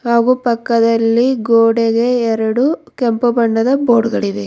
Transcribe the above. ಹಾಗು ಪಕ್ಕದಲ್ಲಿ ಗೋಡೆಗೆ ಎರಡು ಕೆಂಪು ಬಣ್ಣದ ಬೋರ್ಡ್ ಗಳಿವೆ.